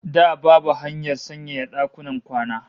Da babu hanyar sanyaya dakunan kwana